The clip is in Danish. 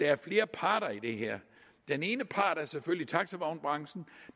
er flere parter i det her den ene part er selvfølgelig taxavognbranchen